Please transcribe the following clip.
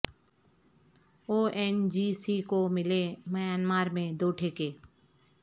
او N G C کو ملے Myanmar میں دو ٹھیکے